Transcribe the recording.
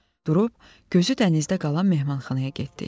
Durub, gözü dənizdə qalan mehmanxanaya getdik.